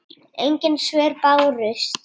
Engin svör bárust.